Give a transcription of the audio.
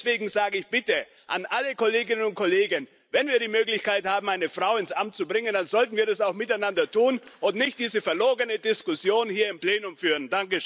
Deswegen sage ich allen Kolleginnen und Kollegen Wenn wir die Möglichkeit haben, eine Frau ins Amt zu bringen, dann sollten wir das bitte auch miteinander tun und nicht diese verlogene Diskussion hier im Plenum führen.